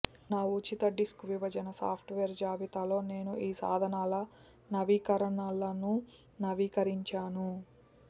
నా ఉచిత డిస్క్ విభజన సాఫ్ట్వేర్ జాబితాలో నేను ఈ సాధనాల నవీకరణలను నవీకరించాను